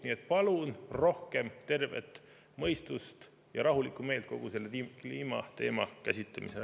Nii et palun rohkem tervet mõistust ja rahulikku meelt kogu selle kliimateema käsitlemisel.